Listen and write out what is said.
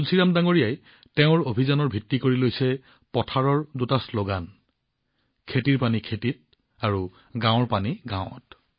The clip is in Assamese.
তুলসীৰাম জীয়ে তেওঁৰ অভিযানৰ ভিত্তি কৰি লৈছে পথাৰৰ পানী পথাৰত গাঁৱৰ পানী গাঁৱত